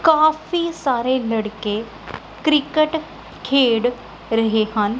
ਕਾਫੀ ਸਾਰੇ ਲੜਕੇ ਕ੍ਰਿਕਟ ਖੇਡ ਰਹੇ ਹਨ।